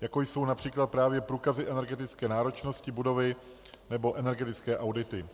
jako jsou například právě průkazy energetické náročnosti budovy nebo energetické audity.